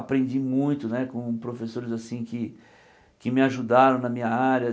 Aprendi muito né com professores assim que que me ajudaram na minha área.